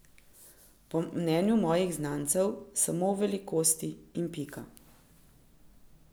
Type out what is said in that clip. Po mnenju mojih znancev samo v velikosti in pika.